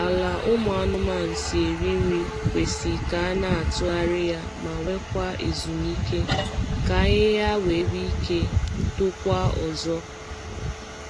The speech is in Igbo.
Ala ụmụ anụmanụ si eri nri kwesị k’ana atugharị ya ma nwe kwa ezumike ka ahịhịa nwe ike tokwa ọzọ ike tokwa ọzọ